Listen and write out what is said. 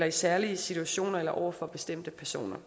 i særlige situationer eller over for bestemte personer